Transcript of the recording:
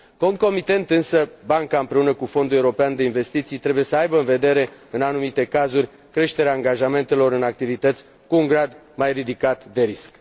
Concomitent, însă, banca, împreună cu Fondul european de investiții, trebuie să aibă în vedere, în anumite cazuri, creșterea angajamentelor în activități cu un grad mai ridicat de risc.